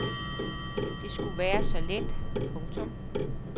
Det skulle være så let. punktum